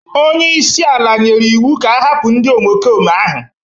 onye isi ala nyere iwu ka ahapụ ndị omekome ahụ